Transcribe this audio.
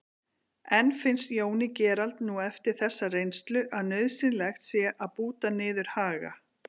En finnst Jóni Gerald nú eftir þessa reynslu að nauðsynlegt sé að búta niður Haga?